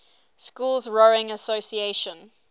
schools rowing association